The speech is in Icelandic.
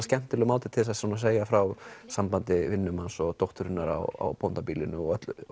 skemmtilegur máti til þess að segja frá sambandi vinnumanns og dótturinnar á bóndabýlinu og